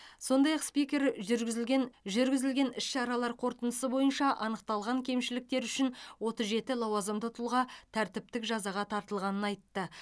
сондай ақ спикер жүргізілген жүргізілген іс шаралар қорытындысы бойынша анықталған кемшіліктер үшін отыз жеті лауазымды тұлға тәртіптік жазаға тартылғанын айтты